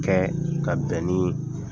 Kɛ ka bɛn ni